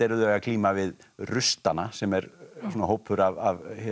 að glíma við sem er svona hópur af